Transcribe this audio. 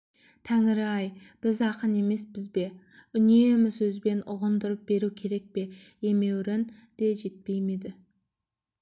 тәңірі-ай біз ақын емеспіз бе үнемі сөзбен ұғындырып беру керек пе емеурін де жетпей ме деп